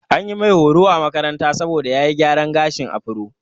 An mai horo a makaranta saboda ya yi gyaran gashin afro.